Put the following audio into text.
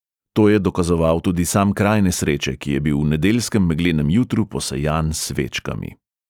To je dokazoval tudi sam kraj nesreče, ki je bil v nedeljskem meglenem jutru posejan s svečkami.